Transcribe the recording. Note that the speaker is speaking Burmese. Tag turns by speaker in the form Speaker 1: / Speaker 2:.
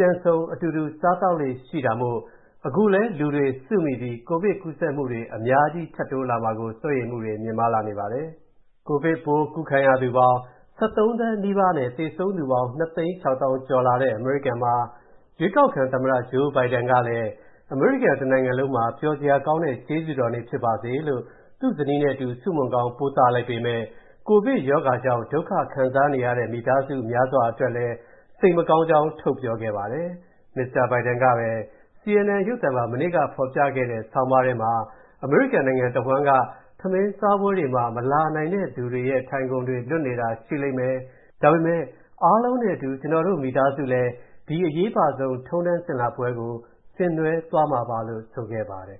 Speaker 1: ပြန်ဆုံအတူတူစားသောက်လေ့ရှိတာမို့၊ အခုလည်း လူတွေစုမိပြီး ကိုဗစ်ကူးစက်မူတွေ အများကြီးထပ်တိုးလားမှာကိုလည်း စိုးရိမ်မူတွေ မြင့်မားနေပါတယ်။ ကိုဗစ်ပိုးကူးခံရသူပေါင်း ၁၃ သန်းနီးပါးနဲ့ သေဆုံးသူပေါင်း ၂ သိန်း ၆ သောင်းကျော်လာတဲ့ အမေရိကန်မှာ ရွေးကောက်ခံသမ္မတ Joe Biden ကလည်း အမေရိကန်တနိုင်ငံလုံးမှာ ပျော်စရာကောင်းတဲ့ ကျေးဇူးတော်နေ့ ဖြစ်ပါစေလို့၊ သူ့ဇနီးနဲ့အတူ ဆုမွန်ကောင်းပို့သလိုက်ပေမဲ့၊ ကိုဗစ်ရောဂါကြောင့် ဒုက္ခခံစားနေရတဲ့ မိသားစုများစွာအတွက်လည်း စိတ်မကောင်းကြောင်း ထုတ်ပြောခဲ့ပါတယ်။ Mr. Biden ကပဲ၊ CNN ရုပ်သံမှာ မနေ့ကဖော်ပြခဲ့တဲ့ ဆောင်းပါးထဲမှာ၊ အမေရိကန်နိုင်ငံတဝှမ်းက ထမင်းစားပွဲတွေမှာ မလာနိုင်တဲ့သူတွေရဲ့ ထိုင်ခုံလွတ်တွေရှိနေလိမ့်မယ်၊ ဒါပေမဲ့ အားလုံးနဲ့အတူ ကျွန်တော်တို့မိသားစုလည်း ဒီအရေးပါဆုံးထုံထမ်းစဉ်လာပွဲကို ဆင်နွှဲသွားမှာပါလို့ ဆိုခဲ့ပါတယ်